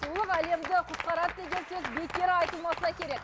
сұлулық әлемді құтқарады деген сөз бекер айтылмаса керек